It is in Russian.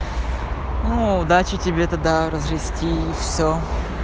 ну удачи тебе тогда развести все